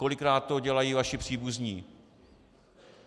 Kolikrát to dělají vaši příbuzní.